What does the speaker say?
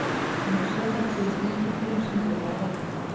Hann hefur sérhæft sig í sníkjudýrum sem lifa á hákörlum.